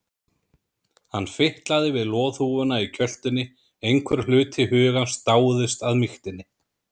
Hann fitlaði við loðhúfuna í kjöltunni, einhver hluti hugans dáðist að mýktinni.